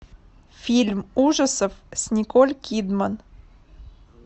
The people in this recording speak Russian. фильм ужасов с николь кидман